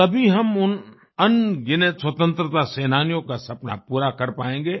तभी हम उन अनगिनत स्वतंत्रता सेनानियों का सपना पूरा कर पायेंगे